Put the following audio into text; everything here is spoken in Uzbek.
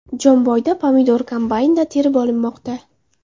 Jomboyda pomidor kombaynda terib olinmoqda.